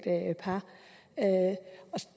par